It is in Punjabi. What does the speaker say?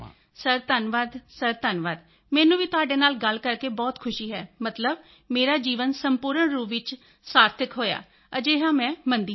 ਸਰ ਧੰਨਵਾਦ ਸਰ ਧੰਨਵਾਦ ਮੈਨੂੰ ਵੀ ਤੁਹਾਡੇ ਨਾਲ ਗੱਲ ਕਰਕੇ ਬਹੁਤ ਖੁਸ਼ੀ ਹੈ ਮਤਲਬ ਮੇਰਾ ਜੀਵਨ ਸੰਪੂਰਨ ਰੂਪ ਵਿੱਚ ਸਾਰਥਿਕ ਹੋਇਆ ਹੈ ਅਜਿਹਾ ਮੈਂ ਮੰਨਦੀ ਹਾਂ